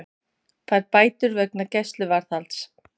Fær bætur vegna gæsluvarðhalds